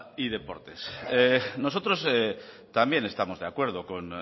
y deportes nosotros también estamos de acuerdo con